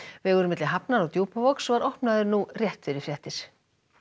vegurinn milli Hafnar og Djúpavogs var opnaður nú rétt fyrir fréttir